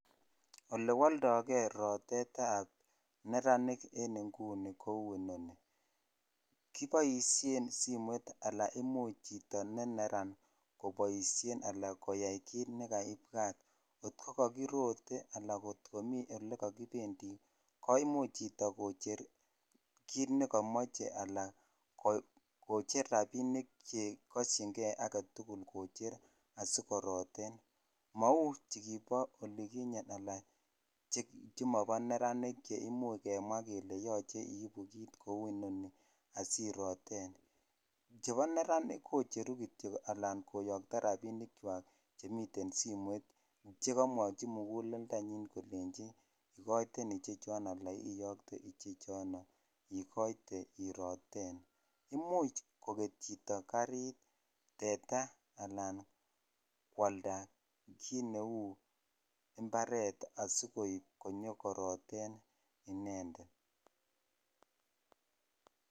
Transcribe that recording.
olewoldogee roteet eb neranik en inguni kouu inoni, kiboishen simoiit anan imuch chito neneraan koboishen alaan koyaai kiit negaibwaat, kot kogagirote anan komii olegagibendii koimuch chito kocheer kiit negagimoche alan kocher rabinik chegosyiin gee agetugul asigoroteen, mouu chigiboo oliginyeen alaan chemobo nereaniik cheimuuch kemwaa kele yooche iibuu kiit kouu inoni asiroteen, chebo neranik kocheru kityook alaan koyokto rabiniik kywaak chemiten simoit chegomwochi muguleldonyiin kolenchi igoiteen ichechon anan iyookte ichechon iigoite iih roteen, imuuch kogeet chito kariit teeta alaan kiit neuu imbareet asigooib asigoroteen inendet.